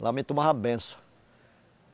Ela me tomava benção.